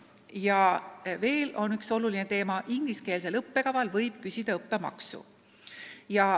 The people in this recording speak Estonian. Ja mis veel oluline: ingliskeelse õppekava puhul võib küsida õppemaksu.